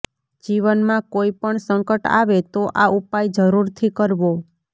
જીવનમાં કોઈ પણ સંકટ આવે તો આ ઉપાય જરૂરથી કરવો